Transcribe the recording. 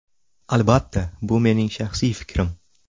Albatta bu mening shaxsiy fikrim.